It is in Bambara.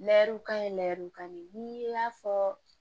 Lɛw ka ɲi lɛrɛw ka ɲi ni y'a fɔ